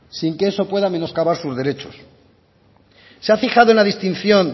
sin que eso pueda menoscabar sus derechos se ha fijado en la distinción